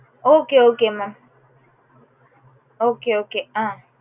okay okay mam okay okay ah